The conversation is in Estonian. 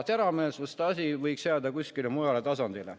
Teravmeelsused võiks jääda kuskile mujale tasandile.